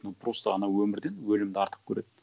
ну просто анау өмірден өлімді артық көреді